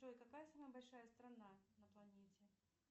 джой какая самая большая страна на планете